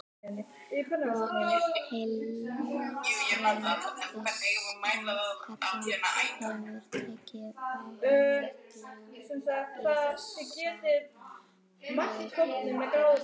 Lára: Og heilbrigðisráðherra hefur tekið ágætlega í þessar hugmyndir ykkar?